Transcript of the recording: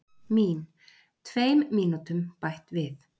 Mín: Tveim mínútum bætt við.